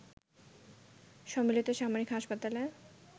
সম্মিলিত সামরিক হাসপাতালে